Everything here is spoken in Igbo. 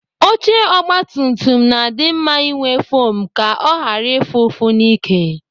Oche ogbatumtum na-adị mma inwe fom ka ọ ghara ịfụ ụfụ n'ike.